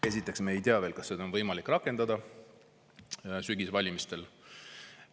Esiteks, me ei tea veel, kas seda on võimalik rakendada sügisvalimistel.